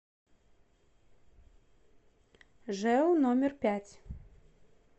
жэу номер пять